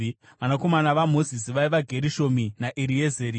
Vanakomana vaMozisi vaiva: Gerishomi naEriezeri.